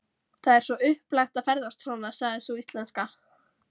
Það er svo upplagt að ferðast svona, sagði sú íslenska.